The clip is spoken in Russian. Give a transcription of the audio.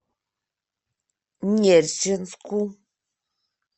нерчинску